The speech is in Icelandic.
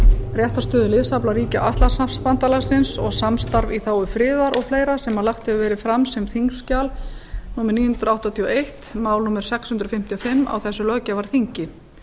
réttarstöðu liðsafla ríkja atlantshafsbandalagsins og samstarfs í þágu friðar og fleira sem lagt hefur verið fram sem þingskjal númer níu hundruð áttatíu og eitt mál númer sex hundruð fimmtíu og fimm á þessu löggjafarþingi